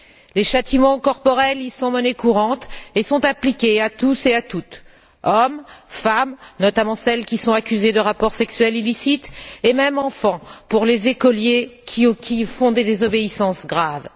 Les châtiments corporels y sont monnaie courante et sont appliqués à tous et à toutes hommes, femmes notamment celles qui sont accusées de rapports sexuels illicites et même enfants, pour les écoliers coupables de désobéissances graves.